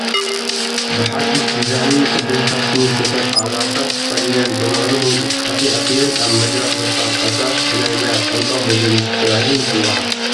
ብሓዱሽ ዲዛንን ቅድን ፋሽንን ንዝተሰርሑ ኣልባሳት ተኸዲነን ብምዕሩግ እንቅስቃሴ ኣቢለን ኣብ መድረኽ ዘፋልጣ ሰባት ብናይ ሞያ ቋንቋ ሞዴሊስት ተባሂለን ይፅውዓ፡፡